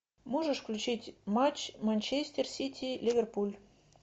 можешь включить матч манчестер сити ливерпуль